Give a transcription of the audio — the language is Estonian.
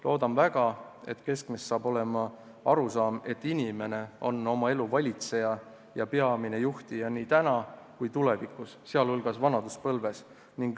Loodan väga, et keskmes saab olema arusaam, et inimene on oma elu valitseja ja peamine juhtija nii täna kui tulevikus, sealhulgas vanaduspõlves.